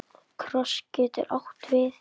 Kross getur átt við